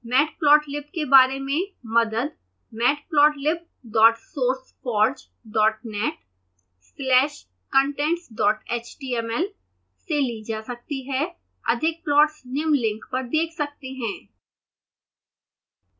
matplotlib के बारे में मदद matplotlibsourceforgenet/contentshtml से ली जा सकती है